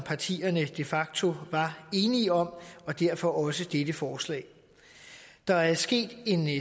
partierne de facto var enige om og derfor også dette forslag der er sket en